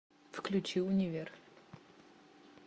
включи универ